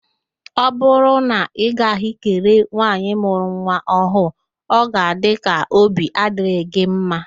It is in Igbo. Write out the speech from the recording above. Ọ bụrụ na ị gaghị kelee nwaanyị mụrụ nwa ọhụrụ, ọ ga-adị ka óbí adịghị gị mma